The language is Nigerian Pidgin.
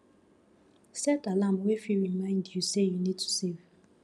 set alarm wey fit remind you sey you need to save